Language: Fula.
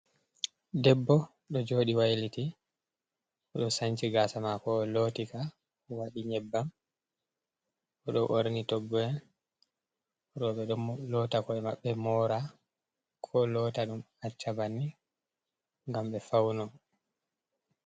Debbo do jodi wailiti do sanci gasa mako lottika wadi nyebbam o do borni togbo’en, robe do lota hore mabbe mora ko lotta dum acca banni gam be fauno.